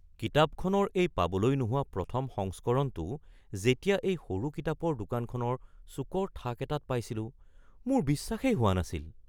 কিতাপখনৰ এই পাবলৈ নোহোৱা প্ৰথম সংস্কৰণটো যেতিয়া এই সৰু কিতাপৰ দোকানখনৰ চুকৰ থাক এটাত পাইছিলোঁ, মোৰ বিশ্বাসেই হোৱা নাছিল।